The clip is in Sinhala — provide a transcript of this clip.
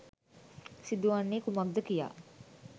සිදුවන්නේ කුමක්ද කියා